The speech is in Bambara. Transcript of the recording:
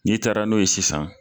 N'i taara n'o ye sisan.